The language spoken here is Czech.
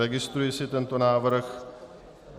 Registruji si tento návrh.